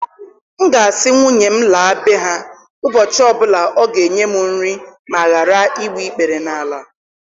M ga-asị nwunye m laa bee ha ụbọchị ọ bụla ọ ga-enye m nri ma ghara igbu ikpere n'ala.